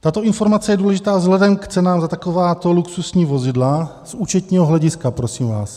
Tato informace je důležitá vzhledem k cenám za takováto luxusní vozidla z účetního hlediska, prosím vás.